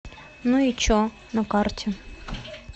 ну и че на карте